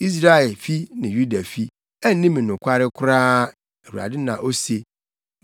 Israelfi ne Yudafi anni me nokware koraa,” Awurade na ose.